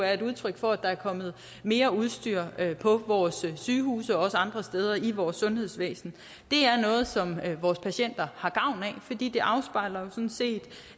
er et udtryk for at der er kommet mere udstyr på vores sygehuse og andre steder i vores sundhedsvæsen det er noget som vores patienter har gavn af fordi det afspejler